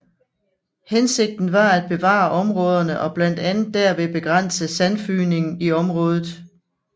Hensigten var at beplante områderne og blandt andet derved begrænse sandfygningen i området